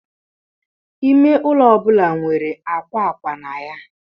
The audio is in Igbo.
Ime ụlọ ọ bụla nwere akwa akwa na ya.